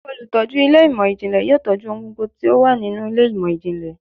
Olutọju ilé imọ-jinlẹ yóò tọju ohún gbógbó tí o wa ninú ilé imọ-jinlẹ